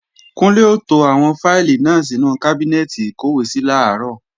Kúnlé ó to àwọn fáìlì náà sínú kábínẹ́ẹ̀tì ìkọ́wèésí làárọ̀